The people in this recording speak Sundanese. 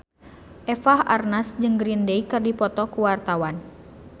Eva Arnaz jeung Green Day keur dipoto ku wartawan